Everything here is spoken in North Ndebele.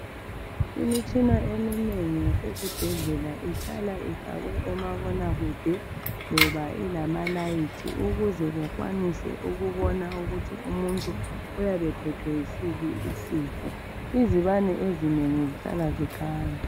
Imitshina eminengi yasesibhedlela ihlala ifakwe omabonakude loba ilamalayithi ukuze bakwanise ukubona ukuthi umuntu uyabe ephethwe yisiphi isifo. Izibane ezinengi zihlala zikhanya.